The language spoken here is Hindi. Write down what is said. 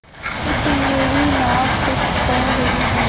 चुप मेरी नाक कुछ कह रही है